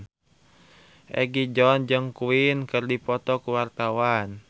Egi John jeung Queen keur dipoto ku wartawan